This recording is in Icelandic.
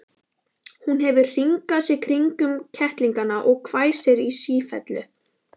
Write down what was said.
Hún hefur hringað sig kringum kettlingana og hvæsir í sífellu.